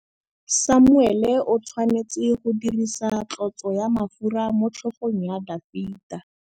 Samuele o tshwanetse go dirisa tlotsô ya mafura motlhôgong ya Dafita.